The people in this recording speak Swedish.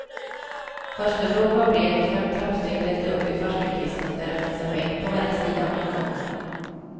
Farstubron var bred och fem trappsteg ledde upp till farstukvisten, där det fanns en bänk på varje sida om ingången.